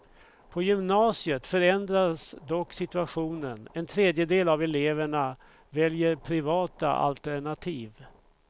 På gymnasiet förändras dock situationen, en tredejedel av eleverna väljer privata alternativ.